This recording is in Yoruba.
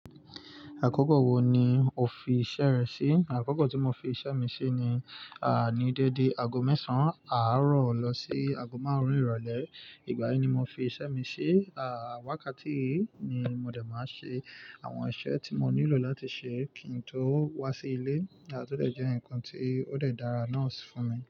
Àkókò wo ni o fi iṣẹ́ rẹ sí? Àkókò tí mo fi iṣẹ́ mi sí ni, àní dẹ́dẹ́ aago mẹ́sàn án àárọ̀ lọ sí aago márùn-ún ìrọ̀lẹ́. Ìgbà yí ni mo fi iṣẹ́ mi ṣí. Àwákàtí yìí ni mo de máa ṣe àwọn iṣẹ́ tí mo nílò láti ṣe kí n tó wá sí ilé. À to jẹ́ nǹkan tí ó dàra náà fún mi.